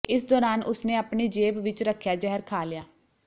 ਇਸ ਦੌਰਾਨ ਉਸਨੇ ਆਪਣੀ ਜੇਬ ਵਿੱਚ ਰੱਖਿਆ ਜ਼ਹਿਰ ਖਾ ਲਿਆ